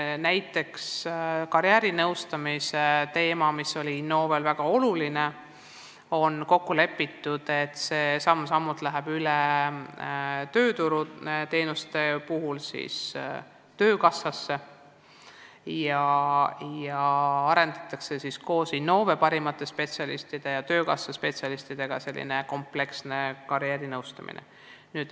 Näiteks karjäärinõustamise osas, mis on Innovel olnud väga oluline töövaldkond, on kokku lepitud, et see läheb samm-sammult üle töökassasse ja tööturuteenuste osutamisel arendavad Innove ja töökassa parimad spetsialistid välja sellise kompleksse karjäärinõustamise.